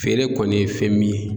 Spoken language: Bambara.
Feere kɔni ye fɛn min ye